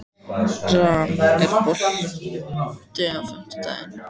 Ram, er bolti á fimmtudaginn?